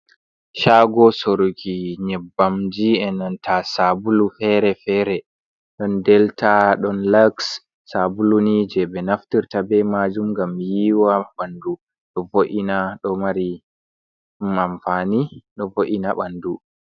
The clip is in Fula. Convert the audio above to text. Caago soruki nyebbamji enanta saabulu feere-feere, ɗon deltaa, ɗon laks, saabulu ni jey ɓe naftirta bey maajum ngam yiiwa ɓandu, ɗo vo’ina, ɗo mari amfaani ɗo vo’ina bandu.